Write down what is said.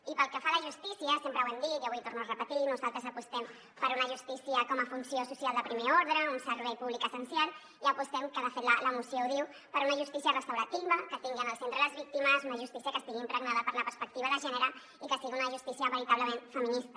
i pel que fa a la justícia sempre ho hem dit i avui ho torno a repetir nosaltres apostem per una justícia com a funció social de primer ordre un servei públic essencial i apostem que de fet la moció ho diu per una justícia restaurativa que tingui en el centre les víctimes una justícia que estigui impregnada per la perspectiva de gènere i que sigui una justícia veritablement feminista